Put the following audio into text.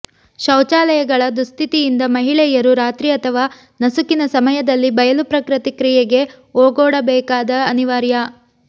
ಶೌಚಾಲಯಗಳ ದುಸ್ಥಿತಿಯಿಂದ ಮಹಿಳೆಯರು ರಾತ್ರಿ ಅಥವಾ ನಸುಕಿನ ಸಮಯದಲ್ಲಿ ಬಯಲು ಪ್ರಕೃತಿ ಕ್ರಿಯೆಗೆ ಓಗೊಡಬೇಕಾದ ಅನಿವಾರ್ಯ